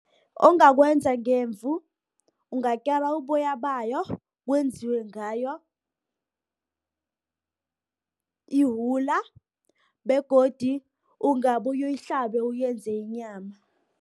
Ongakwenza ngemvu, ungakera uboya bayo, kwenziwe ngayo iwula, begodi ungabuyu yihlabe uyenze inyama.